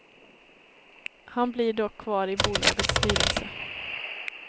Han blir dock kvar i bolagets styrelse.